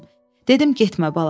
Dedim getmə bala.